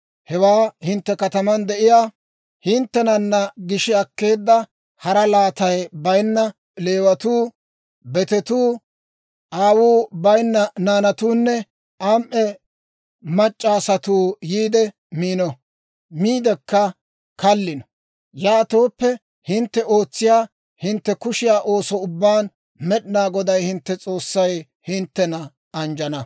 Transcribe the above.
Hewaa hintte kataman de'iyaa hinttenana gishi akkeedda, hara laatay bayinna Leewatuu, betetuu, aawuu bayinna naanatuunne am"e mac'c'a asatuu yiide miino; miidikka kallino. Yaatooppe, hintte ootsiyaa hintte kushiyaa ooso ubbaan Med'inaa Goday hintte S'oossay hinttena anjjana.